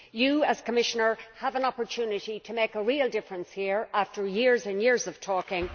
You, as Commissioner, have an opportunity to make a real difference here after years and years of talking.